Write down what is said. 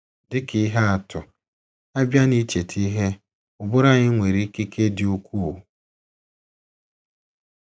Dị ka ihe atụ, a bịa n’icheta ihe, ụbụrụ anyị nwere ikike dị ukwuu.